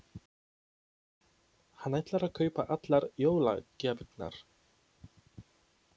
Hann ætlar að kaupa allar jólagjafirnar.